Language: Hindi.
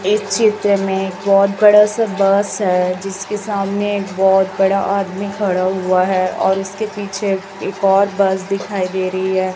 इस चित्र में एक बहोत बड़ा सा बस है जिसके सामने एक बहोत बड़ा आदमी खड़ा हुआ है और उसके पीछे एक और बस दिखाई दे रही हैं।